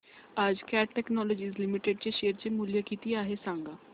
आज Cat Technologies Limited चे share चे मूल्य किती आहे सांगा